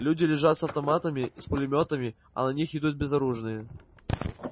люди лежат с автоматами и с пулемётами а на них идут безоружные